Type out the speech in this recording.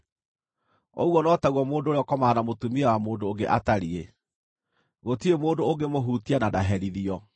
Ũguo no taguo mũndũ ũrĩa ũkomaga na mũtumia wa mũndũ ũngĩ atariĩ; gũtirĩ mũndũ ũngĩmũhutia na ndaherithio.